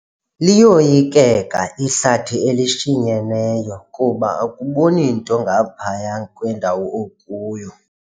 Liyoyikeka ihlathi elishinyeneyo kuba akuboni nto ngaphaya kwendawo okuyo.